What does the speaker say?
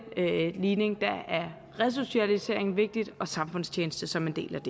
ligning er resocialisering vigtigt og samfundstjeneste som en del af